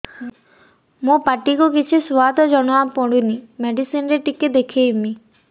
ମୋ ପାଟି କୁ କିଛି ସୁଆଦ ଜଣାପଡ଼ୁନି ମେଡିସିନ ରେ ଟିକେ ଦେଖେଇମି